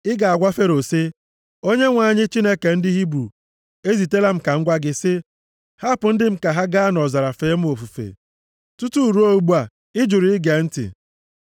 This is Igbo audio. Ị ga-agwa Fero sị, ‘ Onyenwe anyị, Chineke ndị Hibru, ezitela m ka m gwa gị sị, hapụ ndị m ka ha gaa nʼọzara fee m ofufe. Tutu ruo ugbu a, ị jụrụ ige ntị.’